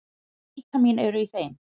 Hvaða vítamín eru í þeim?